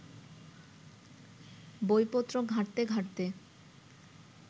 বইপত্র ঘাঁটতে ঘাঁটতে